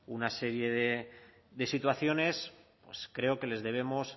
una serie de situaciones pues creo que les debemos